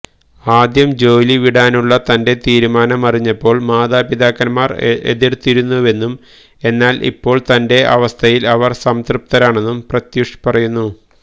ആദ്യം ജോലി വിടാനുള്ള തന്റെ തീരുമാനമറിഞ്ഞപ്പോൾ മാതാപിതാക്കന്മാർ എതിർത്തിരുന്നുവെന്നും എന്നാൽ ഇപ്പോൾ തന്റെ അവസ്ഥയിൽ അവർ സംതൃപ്തരാണെന്നും പ്രത്യൂഷ് പറയുന്നു